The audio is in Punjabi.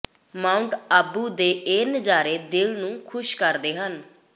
ਮਾਊਂਟ ਆਬੂ ਦੇ ਇਹ ਨਜ਼ਾਰੇ ਦਿਲ ਨੂੰ ਖੁਸ਼ ਕਰਦੇ ਹਨ